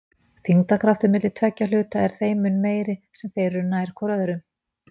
Þyngdarkraftur milli tveggja hluta er þeim mun meiri sem þeir eru nær hvor öðrum.